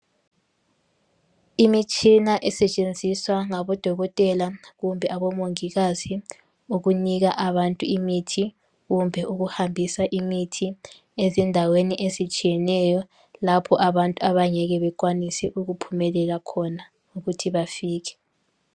Imitshina esetshenziswa ngabodokotela kumbe abomongikazi ukunika abantu imithi kumbe ukuhambisa imithi ezindaweni ezitshiyeneyo lapho abantu abangeke bekwanise ukuphumelela khona ukuthi bafike